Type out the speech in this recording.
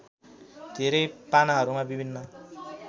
धेरै पानाहरूमा विभिन्न